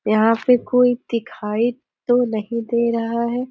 यहाँ पे कोई दिखाई तो नहीं दे रहा है।